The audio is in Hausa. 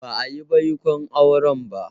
Ba'a yi baikon auren ba.